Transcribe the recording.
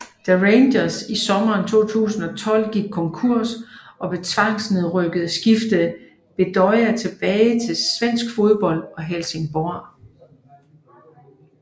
Da Rangers i sommeren 2012 gik konkurs og blev tvangsnedrykket skiftede Bedoya tilbage til svensk fodbold og Helsingborg